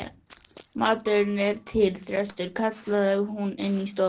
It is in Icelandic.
Maturinn er til, Þröstur, kallaði hún inní stofu.